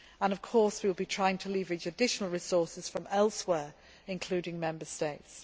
Of course we shall be trying to leverage additional resources from elsewhere, including Member States.